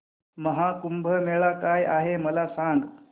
महा कुंभ मेळा काय आहे मला सांग